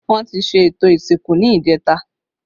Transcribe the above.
Wọn ti ṣe ètò ìsìnkú ni ìjẹta